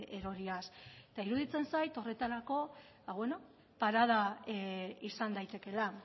eroriaz eta iruditzen zait horretarako parada izan daitekeela